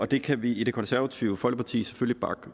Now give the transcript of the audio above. det kan vi i det konservative folkeparti selvfølgelig bakke